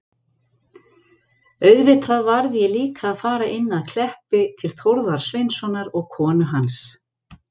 Auðvitað varð ég líka að fara inn að Kleppi til Þórðar Sveinssonar og konu hans.